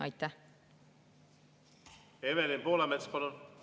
Evelin Poolamets, palun!